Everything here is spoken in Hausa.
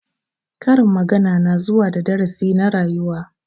Karin magana na zuwa da darasi na rayuwa.